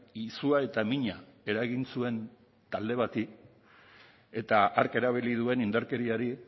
izua eta mina eragin zuen talde bati eta hark erabili duen indarkeriari